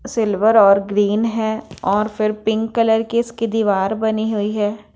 Silver और green है और फिर पिंक कलर की इसकी दीवार बनी हुई है।